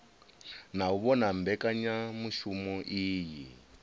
na u vhona mbekanyamushumo iyi